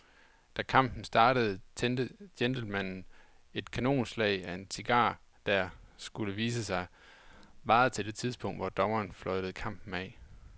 Da kampen startede tændte gentlemanen et kanonslag af en cigar, der, skulle det vise sig, varede til det tidspunkt, hvor dommeren fløjtede kampen af.